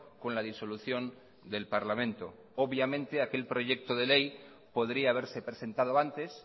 con la disolución del parlamento obviamente aquel proyecto de ley podría haberse presentado antes